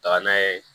Taga n'a ye